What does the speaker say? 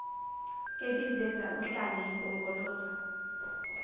ebizenza uhlanya impongoloza